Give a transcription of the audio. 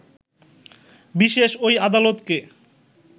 বিশেষ ওই আদালতকে